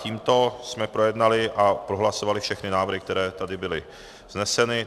Tímto jsme projednali a prohlasovali všechny návrhy, které tímto byly vzneseny.